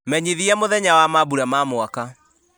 menyithia mũthenya wa mambura ma mwaka